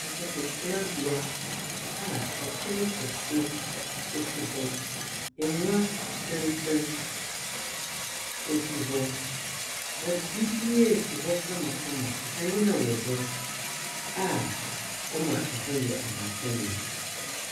Ahɔho tsenabea a pon kɛse si hɔ, ngua tsentsen si hɔ. Wɔdze biribiara esi hɔ kamakama, kanea wɔ hɔ a ɔma hɔ yɛ ahomka yie.